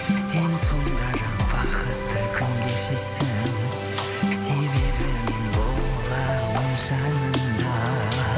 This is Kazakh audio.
сен сонда да бақытты күн кешесің себебі мен боламын жаныңда